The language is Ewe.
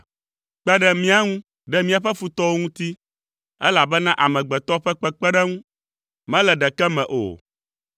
Kpe ɖe mía ŋu, ɖe míaƒe futɔwo ŋuti, elabena amegbetɔ ƒe kpekpeɖeŋu mele ɖeke me o.